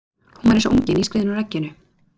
Hún var eins og ungi nýskriðinn úr egginu.